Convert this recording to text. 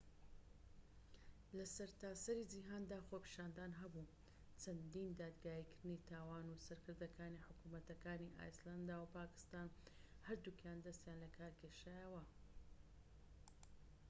لە سەرتاسەری جیهاندا خۆپیشاندان هەبوو چەندین دادگایکردنی تاوان و سەرکردەکانی حکومەتەکانی ئایسلەندا و پاکستان هەردووکیان دەستیان لەکار کێشایەوە